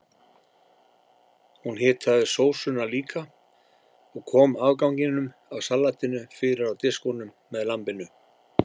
Hún hitaði sósuna líka og kom afganginum af salatinu fyrir á diskunum með lambinu.